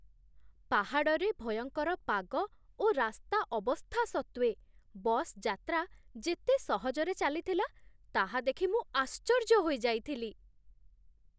ପାହାଡ଼ରେ ଭୟଙ୍କର ପାଗ ଓ ରାସ୍ତା ଅବସ୍ଥା ସତ୍ତ୍ୱେ ବସ୍ ଯାତ୍ରା ଯେତେ ସହଜରେ ଚାଲିଥିଲା, ତାହା ଦେଖି ମୁଁ ଆଶ୍ଚର୍ଯ୍ୟ ହୋଇଯାଇଥିଲି!